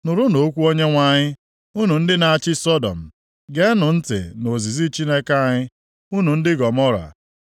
Nụrụnụ okwu Onyenwe anyị, unu ndị na-achị Sọdọm; geenụ ntị nʼozizi Chineke anyị, unu ndị Gọmọra.